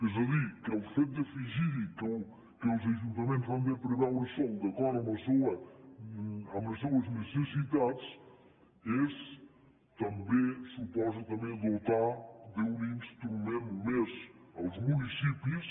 és a dir que el fet d’afegir hi que els ajuntaments han de preveure sòl d’acord amb les seues necessitats suposa també dotar d’un instrument més als municipis